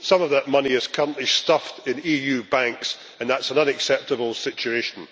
Some of that money is currently stuffed in EU banks, and that is an unacceptable situation.